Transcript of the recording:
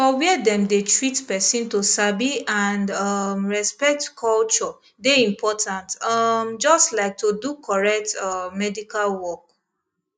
for where dem dey treat person to sabi and um respect culture dey important um just like to do correct um medical work